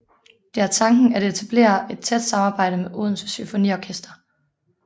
Det er tanken at etablere et tæt samarbejde med Odense Symfoniorkester